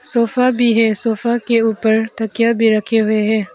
Sofa भी है sofa के ऊपर तकिया भी रखे हुए हैं।